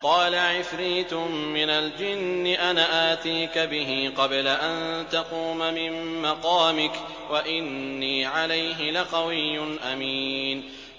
قَالَ عِفْرِيتٌ مِّنَ الْجِنِّ أَنَا آتِيكَ بِهِ قَبْلَ أَن تَقُومَ مِن مَّقَامِكَ ۖ وَإِنِّي عَلَيْهِ لَقَوِيٌّ أَمِينٌ